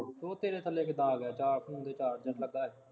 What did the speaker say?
ਉਹ ਤੇਰੇ ਥੱਲੇ ਕਿਦਾਂ ਆ ਗਿਆ, ਤਾਂ ਫੋਨ ਤੇ ਚਾਰਜਰ ਲੱਗਾ ਸੀ